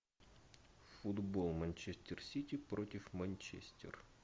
футбол манчестер сити против манчестер